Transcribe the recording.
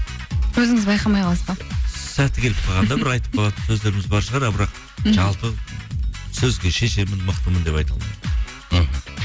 өзіңіз байқамай қаласыз ба сәті келіп қалғанда бір айтып қалатын сөздеріміз бар шығар ал бірақ мхм жалпы сөзге шешенмін мықтымын деп айта алмаймын мхм